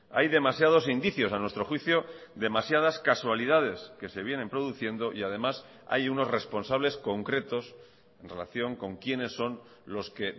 hay demasiados indicios a nuestro juicio demasiadas casualidades que se vienen produciendo y además hay unos responsables concretos en relación con quiénes son los que